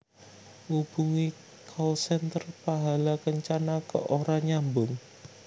Ngubungi call center Pahala Kencana kok ora nyambung